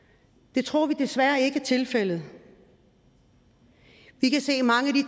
det tror vi desværre ikke er tilfældet vi kan se at mange